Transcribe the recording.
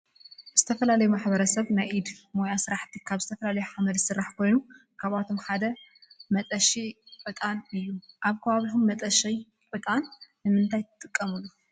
ዝተፈላለዮ ማሕበረሰብ ናይ ኢድ ሞያ ሰራሕቲ ካብ ዝተፈላለዮ ሐመድ ዝሰራሕ ኮይኑ ካብአቶም ድማ ሐደ መጠሺ ዕጣን እዮ ።አብ ከባቢኩም መጠሺ ዕጣን ንምንታይ ትጥቀምሉ ?